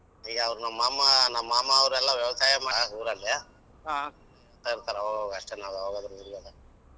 ಈಗ ಅವ್ರ ನಮ್ ಮಾಮಾ ನಮ್ ಮಾಮಾ ಅವರೆಲ್ಲ ವ್ಯವಸಾಯ ಮಾಡ್ಯಾರ ಊರಲ್ಲಿ ಹೇಳ್ತಾ ಇರ್ತರ ಅವಗ ಅವಗ ಅಷ್ಟೆ .